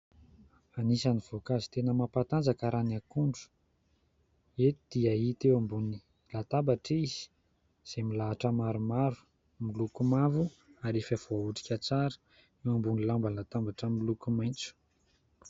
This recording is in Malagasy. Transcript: Anisan'ny voankazo tena mampatanjaka raha ny akondro. Eto dia hita eo ambony latabatra izy, izay milahatra maromaro, miloko mavo ary efa voaotrika tsara, eo ambony lamban-databatra miloko maitso.